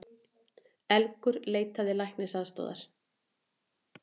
Elgur leitaði læknisaðstoðar